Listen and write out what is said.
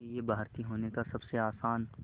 क्योंकि ये भारतीय होने का सबसे आसान